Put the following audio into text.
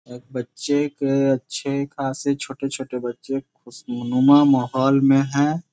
एक बच्चे के अच्छे खासे छोटे-छोटे बच्चे खुशनुमा माहौल में है।